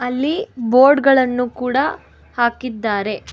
ಅಲ್ಲಿ ಬೋರ್ಡ ಗಳನ್ನು ಕೂಡ ಹಾಕಿದ್ದಾರೆ.